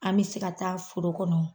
An me se ka taa foro kɔnɔ